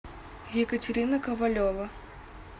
екатерина ковалева